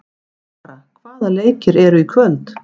Kara, hvaða leikir eru í kvöld?